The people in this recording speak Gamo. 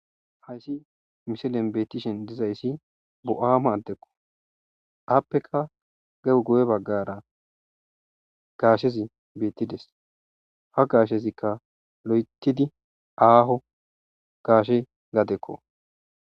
Hays milen betishn dizays nuhama adeko apeka guye bagara hashez betides, ha gashezika lo'etid aaho gashe gadeko.